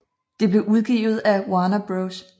Det blev udgivet af Warner Bros